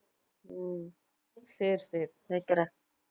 உம் சரி சரி வைக்கிறேன்